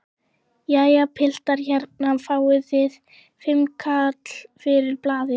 Jæja piltar, hérna fáið þið fimmkall fyrir blaðið!